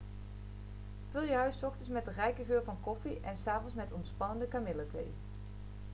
vul je huis s ochtends met de rijke geur van koffie en s avonds met ontspannende kamillethee